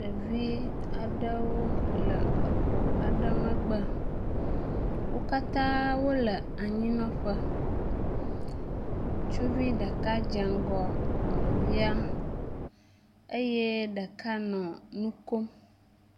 Ɖevi aɖewo le xɔ aɖe megbe. Wo katã wole anyinɔƒe. Ŋutsuvi ɖeka dze ŋgɔ nɔvia eye ɖeka nɔ nu kom.